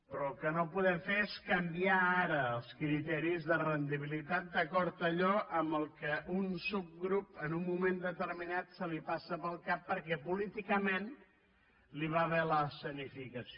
però el que no podem fer és canviar ara els criteris de rendibilitat d’acord amb allò que a un subgrup en un moment determinat li passa pel cap perquè políticament li va bé l’escenificació